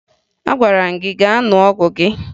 Agwara m gị gaa ṅụọ ọgwụ gị!